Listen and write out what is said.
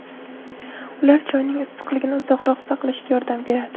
Ular choyning issiqligini uzoqroq saqlashga yordam beradi.